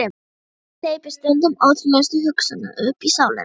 Hvíldin hleypir stundum ótrúlegustu hugsunum uppí sálina.